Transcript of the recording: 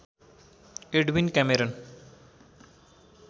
Edwin Cameron